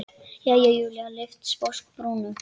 Jæja, Júlía lyfti sposk brúnum.